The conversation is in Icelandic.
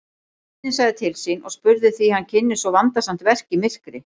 Sveinninn sagði til sín og spurði hví hann ynni svo vandasamt verk í myrkri.